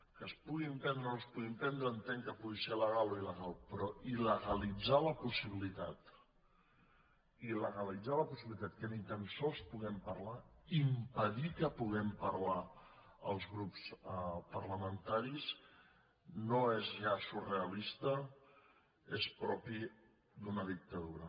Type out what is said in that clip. que es pugui emprendre o no es pugui emprendre entenc que pugui ser legal o ilpossibilitat il·legalitzar la possibilitat que ni tan sols puguem parlar impedir que puguem parlar els grups parlamentaris no és ja surrealista és propi d’una dictadura